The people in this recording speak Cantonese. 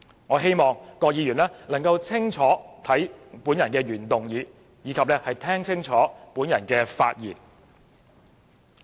我希望郭議員能看清楚我的原議案，以及聽清楚我的發言。